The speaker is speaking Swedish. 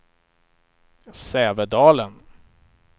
Sävedalen